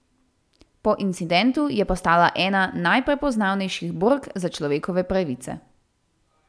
Po incidentu je postala ena najprepoznavnejših bork za človekove pravice.